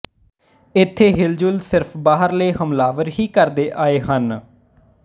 ਇਥੇ ਹਿਲਜੁਲ ਸਿਰਫ ਬਾਹਰਲੇ ਹਮਲਾਵਰ ਹੀ ਕਰਦੇ ਆਏ ਹਨ